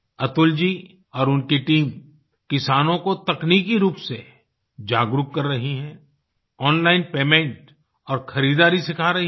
अतुल जी और उनकी टीम किसानों को तकनीकी रूप से जागरूक कर रही है ओन लाइन पेमेंट और खरीदारी सिखा रही हैं